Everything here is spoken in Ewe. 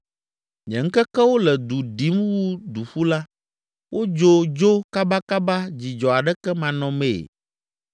“Nye ŋkekewo le du ɖim wu duƒula, wodzo dzo kabakaba dzidzɔ aɖeke manɔmee.